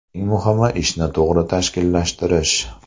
Eng muhimi – ishni to‘g‘ri tashkillashtirish.